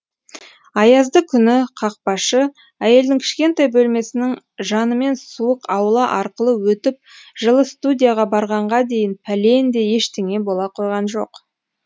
аязды күні қақпашы әйелдің кішкентай бөлмесінің жанымен суық аула арқылы өтіп жылы студияға барғанға дейін пәлендей ештеңе бола қойған жоқ